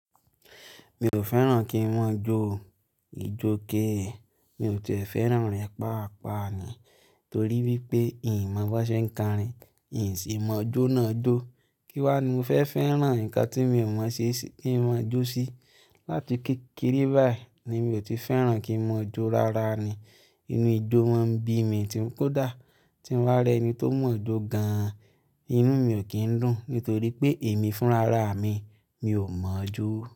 Mi ò fẹ́ràn kí maa jó o, ijo ke. Mi ò ti fẹ́ràn rẹ̀ paapa ni torí wípé ìì mọ bó ṣe ń korin, ì sì mọ jó náà jó. Kí wá ni mo fẹ́ fẹ́ràn nǹkan tí mi ò mọ̀ se si kï màá jó sí. Láti kékeré báyìí ni mi ò ti fẹ́ràn kí màà jó rárá ni. Inú ijó máa ń bí mi tí ń kó dà á, tí ń bá rẹ́ ẹni tó mọ̀ jó gan-an, inú mi ò kí ń dùn nítorí pé èmi fúnra ra mi, mi ò mọ̀ jó.